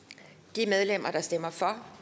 de medlemmer der stemmer for